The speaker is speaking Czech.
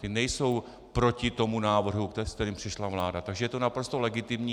Ty nejsou proti tomu návrhu, se kterým přišla vláda, takže je to naprosto legitimní.